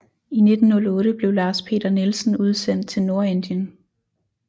I 1908 blev Lars Peter Nielsen udsendt til Nordindien